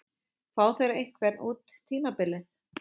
Fá þeir einhvern út tímabilið?